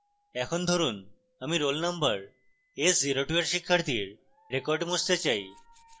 এখন ধরুন আমি roll নম্বর s02 এর শিক্ষার্থীর record মুছতে চাই